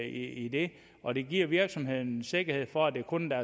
i det og det giver virksomheden en sikkerhed for at det kun er